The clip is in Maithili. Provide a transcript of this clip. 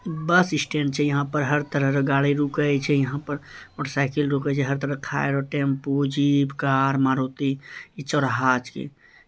बस स्टैंड छै यहां पर हर तरह के गाड़ी रुके छै यहां पर मोटरसाइकिल रूके छै यहां पर मोटरसाइकिल रूके छै हर तरह के टेंपू जीप मारुति इ चौराहा छिके।